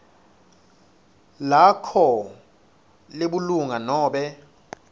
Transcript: lakho lebulunga nobe